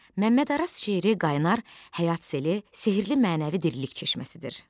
Məmməd Araz şeiri qaynar həyat seli, sehirli mənəvi dirilik çeşməsidir.